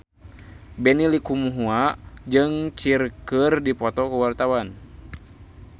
Benny Likumahua jeung Cher keur dipoto ku wartawan